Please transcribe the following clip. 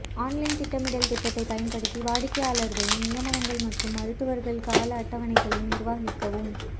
online திட்டமிடல் திட்டத்தை பயன்படுத்தி வாடிக்கையாளர்களின் நியமனங்கள் மற்றும் மருத்துவர்கள் கால அட்டவணைகளை நிர்வகிக்கவும்